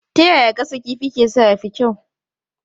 Ta yaya gasa kifi ke sa ya fi kyau?